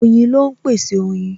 Oyin ló ń pèsè oyin